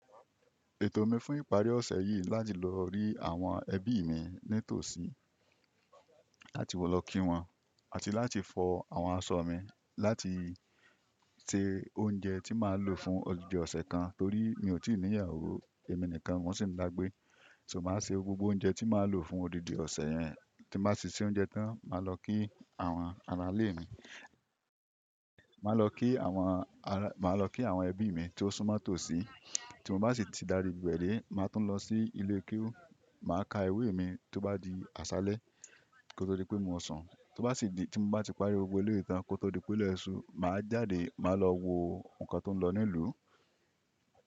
Ètò mi fún ìparí ọ̀sẹ̀ yìí láti lọ rí àwọn ẹbí mi ní tòsí àti lọ kí wọn àti láti fọ àwọn aṣọ mi láti se oúnjẹ tí màá lò fún odidi ọ̀sẹ̀ kan torí mi ò tí ì ní ìyàwó èmi nìkan mo sì ń dàgbé. So màá ṣe gbogbo oúnjẹ tí màá lò fún odidi ọ̀sẹ̀ yẹn. Tí màá ṣíṣe oúnjẹ tán, màá lọ kí àwọn ará ilé mi. Màá lọ kí àwọn ará, màá lọ kí àwọn ẹbí mi tó súnmọ́ tòsí. Tí mo bá sì ti darí gbẹ́ẹ́rẹ́, màá tún lọ sí ilé iké oún, màá ka ewé mi tó bá di àṣálẹ́ kó tó di pé mo sán. Tó bá sì di tí mo bá ti parí gbogbo ilé kan kó tó di pé ó lẹ́ṣù, màá jáde, màá lọ wo nǹkan tó ń lọ ní ìlú.